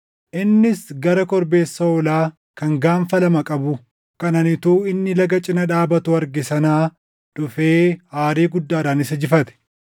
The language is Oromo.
Innis gara korbeessa hoolaa kan gaanfa lama qabu kan ani utuu inni laga cina dhaabatuu arge sanaa dhufee aarii guddaadhaan isa jifate.